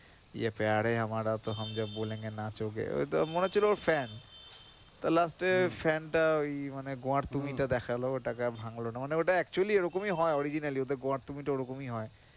মনে হচ্ছিল ওর fan তো last য় fan টা ওই মানে গোঙার তুমিটা দেখালো ওটাকে আর ভাঙলো না মানে ওটা actually এ রকমই হয় originally ওদের গোঙার তুমিটা ওরকমই হয়.